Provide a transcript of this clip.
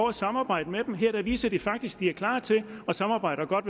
at samarbejde med dem her viser de faktisk at de er klar til at samarbejde og godt